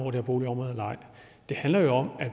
eller ej det handler om at